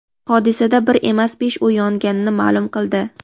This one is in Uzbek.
hodisada bir emas besh uy yonganini ma’lum qildi.